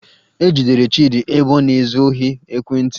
E jidere Chịdị ebe ọ na-ezu ohi ekwentị